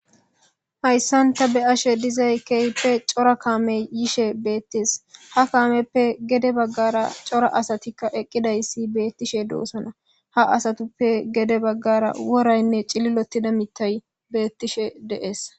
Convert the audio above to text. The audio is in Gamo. Hayssan ta be ashe dizay keype cora kaame yishe beettes ha kaameppe gede baggara cora asatikka eqqidayssi beettishe doosana ha asatippe gede baggara woraynne cililotida mitay bettishe deees.